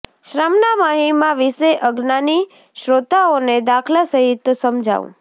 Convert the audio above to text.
શ્રમના મહિમા વિશે અજ્ઞાની શ્રોતાઓને દાખલા સહિત સમજાવું